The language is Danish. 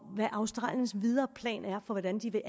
hvad australiens videre plan er for hvordan de vil